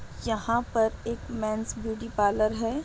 यहाँ पर एक मेंस ब्यूटी पार्लर है।